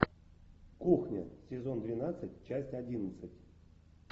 кухня сезон двенадцать часть одиннадцать